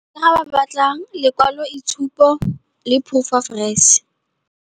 Ga ba batla lekwalo itshupo le proof of res.